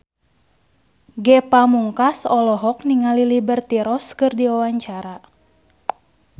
Ge Pamungkas olohok ningali Liberty Ross keur diwawancara